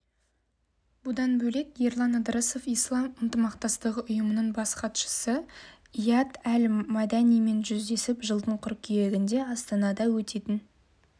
бұдан бөлек ерлан ыдырысов ислам ынтымақтастығы ұйымының бас хатшысы ияд әл-маданимен жүздесіп жылдың қыркүйегінде астанада өтетін